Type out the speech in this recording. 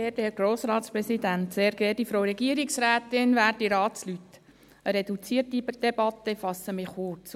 Es ist eine reduzierte Debatte, ich fasse mich daher kurz.